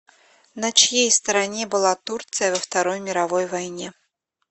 на чьей стороне была турция во второй мировой войне